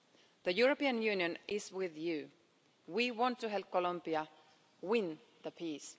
the European Union is with you. We want to help Colombia win the peace.